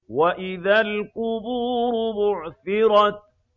وَإِذَا الْقُبُورُ بُعْثِرَتْ